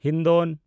ᱦᱤᱱᱰᱚᱱ